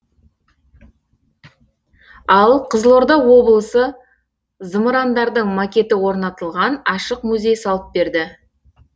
ал қызылорда облысы зымырандардың макеті орнатылған ашық музей салып берді